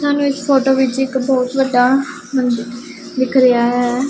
ਸਾਨੂੰ ਇੱਸ ਫ਼ੋਟੋ ਵਿੱਚ ਇੱਕ ਬਹੁਤ ਵੱਡਾ ਮੰਦਿਰ ਦਿੱਖ ਰਿਹਾ ਹੈ।